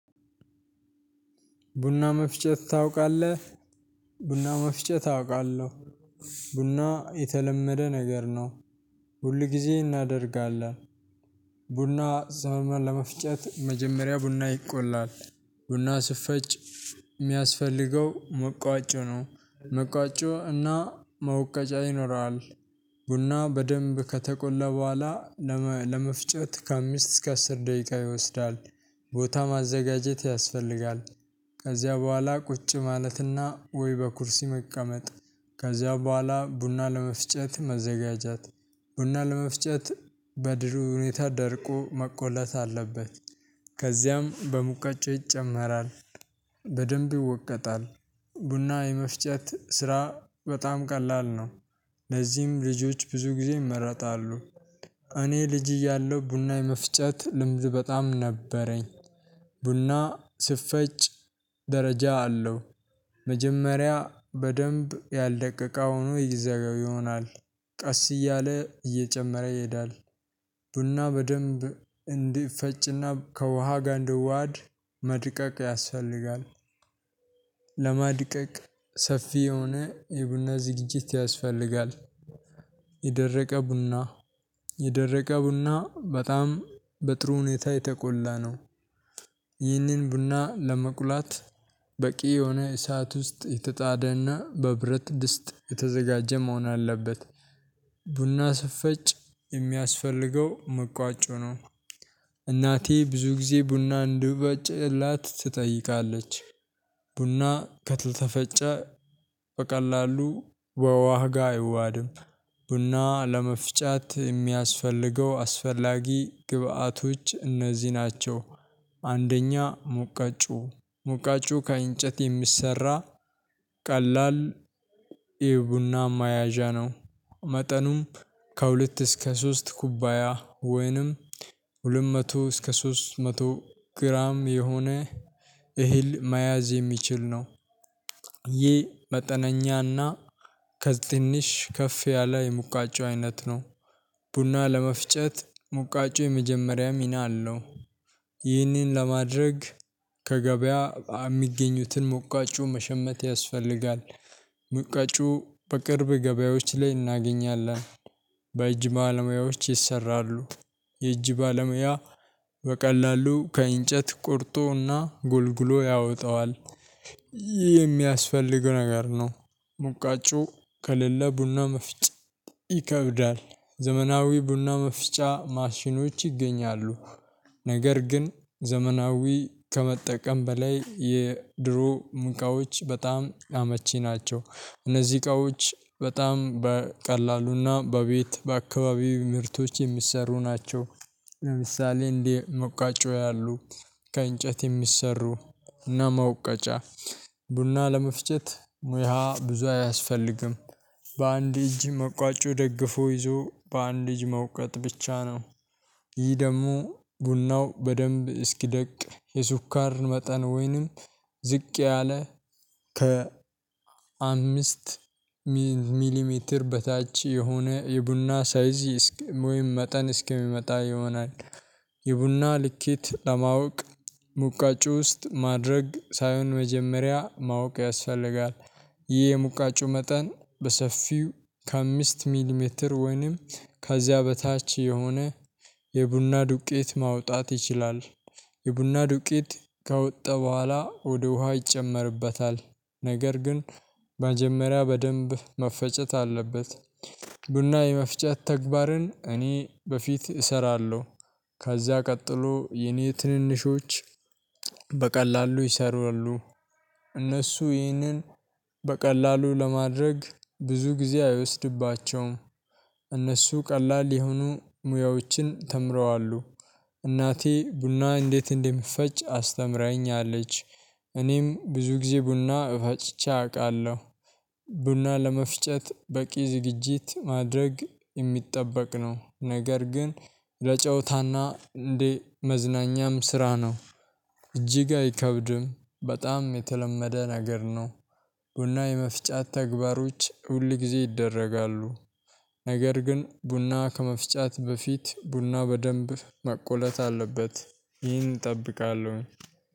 ቡና መፍጨት ታውቃለህ? ቡና መፍጨት አውቃለሁ። ቡና የተለመደ ነገር ነው። ሁል ጊዜ እናደርጋለን። ቡና ዘመመን ለመፍጨት መጀመሪያ ቡና ይቆላል። ቡና ሲፈጭ የሚያስፈልገው መውቀጫ ነው። እና መውቀጫ ይኖራል። ቡና በደንብ ከተቆላ በኋላ ለመፍጨት ከአምስት እስከ አስር ደቂቃ ይወስዳል። ቦታ ማዘጋጀት ያስፈልጋል። ከዚያ በኋላ ቁጭ ማለትና ወይ በኩርሲ መቀመጥ ከዚያ በኋላ ቡና ለመፍጨት መዘጋጃት ቡና ለመፍጨት በጥሩ ሁኔታ ደርቆ መቆላት አለበት። ከዚያም በሙቀጫ ይጨመራል። በደንብ ይወቀጣል ቡና የመፍጨት ስራ በጣም ቀላል ነው። ለዚህም ልጆች ብዙ ጊዜ ይመረጣሉ። እኔ ልጅ እያለሁ ቡና የመፍጨት ልምድ በጣም ነበረኝ። ቡና ሲፈጭ ደረጃ አለው። መጀመሪያ በደንብ ያልደቀቀ ሆኖ ይዘገይ ይሆናል። ቀስ እያለ እየጨመረ ይሄዳል። ቡና በደንብ እንዲፈጭና ከውሃ ጋር እንዲዋህድ መድቀቅ ያስፈልጋል። ለማድቀቅ ሰፊ የሆነ የቡና ዝግጅት ያስፈልጋል። የደረቀ ቡና የደረቀ ቡና በጣም በጥሩ ሁኔታ የተቆላ ነው። ይህንን ቡና ለመቁላት በቂ የሆነ እሳት ውስጥ የተጣደና በብረት ድስት የተዘጋጀ መሆን አለበት። ቡና ስፈጭ የሚያስፈልገው መቋጮ ነው። እናቴ ብዙ ጊዜ ቡና እንድበጭላት ትጠይቃለች። ቡና ከተፈጨ በቀላሉ በውሃ ጋር አይዋሀድም። ቡና ለመፍጫት የሚያስፈልገው አስፈላጊ ግብአቶች እነዚህ ናቸው። አንደኛ ሙቃጩ ሙቃጩ ከእንጨት የሚሰራ ቀላል የቡና መያዣ ነው። መጠኑም ከሁለት እስከ ሶስት ኩባያ ወይንም ሁለት መቶ እስከ ሶስት መቶ ግራም የሆነ እህል መያዝ የሚችል ነው። ቡና በደንብ እንዲፈጭና ከውሃ ጋር እንዲዋህድ መድቀቅ ያስፈልጋል ለመድቀቅ ሰፊ የሆነ የቡና ዝግጅት ያስፈልጋል። የደረቀ ቡና የደረቀ ቡና በጣም በጥሩ ሁኔታ የተቆላ ነው። ይህንን ቡና ለመቁላት በቂ የሆነ እሳት ውስጥ የተጣደና በብረት ድስት የተዘጋጀ መሆን አለበት። ቡና ሲፈጭ የሚያስፈልገው መውቀጫ ነው። እናቴ ብዙ ጊዜ ቡና እንድፈጭላት ትጠይቃለች። የሚያስፈልገው ነገር ነው። ሙቃጩ ከሌለ ቡና መፍጫ ይከብዳል። ዘመናዊ ቡና መፍጫ ማሽኖች ይገኛሉ። ነገር ግን ዘመናዊ ከመጠቀም በላይ የድሮ ሙቃዎች በጣም አመቺ ናቸው እነዚህ እቃዎች በጣም በቀላሉና በቤት በአካባቢው ምርቶች የሚሰሩ ናቸው። ለምሳሌ እንዴ መቋጮው ያሉ ከእንጨት የሚሰሩ እና መውቀጫ ቡና ለመፍጨት ሙያ ብዙ አያስፈልግም። በአንድ እጅ መቋጮ ደግፎ ይዞ በአንድ እጅ መውቀጥ ብቻ ነው። ይህ ደግሞ ቡናው በደንብ እስኪደቅ የሱካር መጠን ወይንም ዝቅ ያለ ከ አምስት ሚሊሜትር በታች የሆነ የቡና ሳይዝ ወይም መጠን እስኪመጣ ይሆናል። የቡና ልኬት ለማወቅ ሙቋጮ ውስጥ ማድረግ ሳይሆን መጀመሪያ ማወቅ ያስፈልጋል። ይህ የሙቋጮ መጠን በሰፊው ከአምስት ሚሊሜትር ወይንም ከዚያ በታች የሆነ የቡና ዱቄት ማውጣት ይችላል። የቡና ዱቄት ከወጣ በኋላ ወደ ውሃ ይጨመርበታል። ነገር ግን መጀመሪያ በደንብ መፈጨት አለበት። ቡና የመፍጨት ተግባርን እኔ በፊት እሰራለሁ። ከዚያ ቀጥሎ የኔ ትንንሾች በቀላሉ ይሰሩሉ። እነሱ ይህንን በቀላሉ ለማድረግ ብዙ ጊዜ አይወስድባቸውም። እነሱ ቀላል የሆኑ ሙያዎችን ተምረዋሉ። እናቴ ቡና እንዴት እንደምፈጭ አስተምረኛለች። እኔም ብዙ ጊዜ ቡና እፈጭቼ አውቃለሁ። ቡና ለመፍጨት በቂ ዝግጅት ማድረግ የሚጠበቅ ነው፣ ነገር ግን ለጨውታና እንዴ መዝናኛም ስራ ነው። እጅግ አይከብድም በጣም የተለመደ ነገር ነው። ቡና የመፍጫት ተግባሮች ሁል ጊዜ ይደረጋሉ። ነገር ግን ቡና ከመፍጫት በፊት ቡናው በደንብ መቆለጥ አለበት። ይህን እጠብቃለሁ።